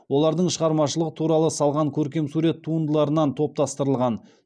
олардың шығармашылығы туралы салған көркемсурет туындыларынан топтастырылған